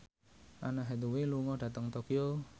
Anne Hathaway lunga dhateng Tokyo